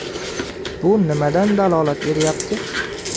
Bu nimadan dalolat beryapti?